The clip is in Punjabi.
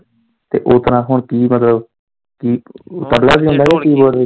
ਤੇ ਉਹ ਤਰਾਂ ਹੁਣ ਕੀ ਮਤਲਬ ਕੀ ਤਬਲਾ ਵਜਾਉਂਦਾ ਕੀ ਮਤਲਬ ਕੀ